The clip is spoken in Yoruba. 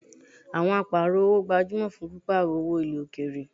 Awon aparo-owo gbajumo fun piparo owo ile okeere